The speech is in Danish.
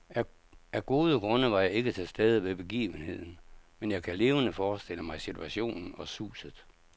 Af gode grunde var jeg ikke til stede ved begivenheden, men jeg kan levende forestille mig situationen og suset.